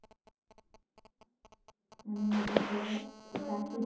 মানি এই job এই চাকরি